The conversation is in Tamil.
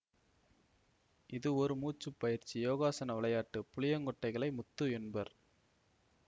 இது ஒரு மூச்சுப் பயிற்சி யோகாசன விளையாட்டு புளியங்கொட்டைகளை முத்து என்பர்